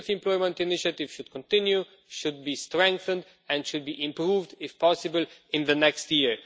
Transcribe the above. The youth employment initiative should continue, should be strengthened and should be improved, if possible, in the next year.